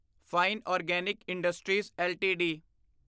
fine organic industries LTD